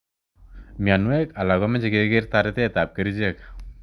Mionwek alak ko meche keker taretet ap kerichek.